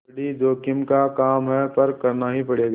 बड़ी जोखिम का काम है पर करना ही पड़ेगा